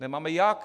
Nemáme jak.